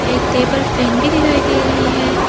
एक table fan भी दिखाई दे रही है।